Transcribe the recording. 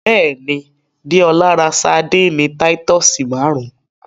Bẹ́ẹ̀ni, Dẹ́ọla rá Sárḍíńí Títùsí márùn.